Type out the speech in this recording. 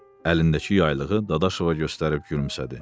Əlindəki yaylığı Dadaşova göstərib gülümsədi.